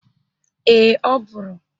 Ee, ọ bụrụ